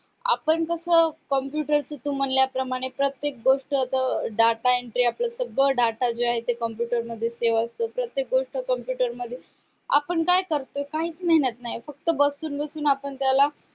आपण कस computer च तू म्हणल्याप्रमाणे data entry आपलं सगळं data जे आहे ते computer मध्ये save असतो प्रत्येक गोष्ट जे आहे ते computer मध्ये आपण काय करतोय काहीच मेहनत नाही फक्त बसून बसून आपण त्याला